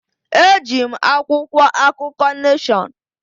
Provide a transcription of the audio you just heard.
Eji m akwụkwọ akụkọ Neshọn.